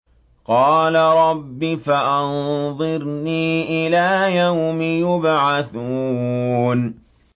قَالَ رَبِّ فَأَنظِرْنِي إِلَىٰ يَوْمِ يُبْعَثُونَ